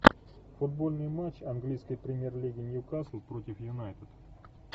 футбольный матч английской премьер лиги ньюкасл против юнайтед